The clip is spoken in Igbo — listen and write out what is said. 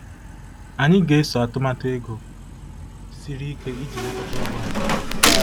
Anyị ga-eso atụmatụ ego siri ike iji lekọta ụgwọ anyị.